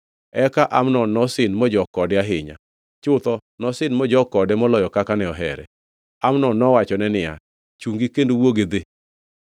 Eka Amnon nosin mojok kode ahinya. Chutho, nosin mojok kode moloyo kaka ne ohere. Amnon nowachone niya, “Chungi kendo wuog idhi!”